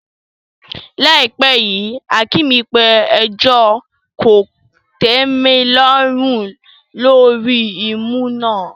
Láìpẹ́ yìí, Hakeem pe ẹjọ́ kòtẹ́milọ́rùn lórí ìmú náà.